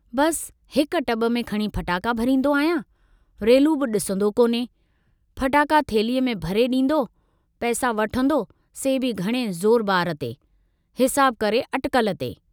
बस हिक टब में खणी फटाका भरींदो आहियां, रेलू बि डिसंदो कोन्हे, फटाका थेल्ही अ में भरे डींदो, पैसा वठंदो से बि घणे ज़ोरबार ते, हिसाब करे अटकल ते।